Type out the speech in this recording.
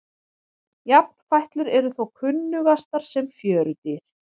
Jafnfætlur eru þó kunnugastar sem fjörudýr.